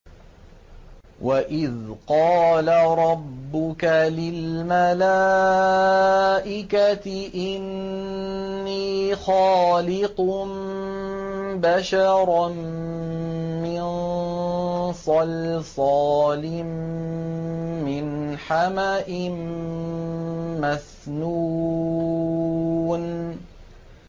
وَإِذْ قَالَ رَبُّكَ لِلْمَلَائِكَةِ إِنِّي خَالِقٌ بَشَرًا مِّن صَلْصَالٍ مِّنْ حَمَإٍ مَّسْنُونٍ